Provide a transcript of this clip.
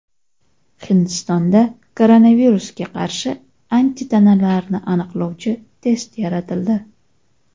Hindistonda koronavirusga qarshi antitanalarni aniqlovchi test yaratildi.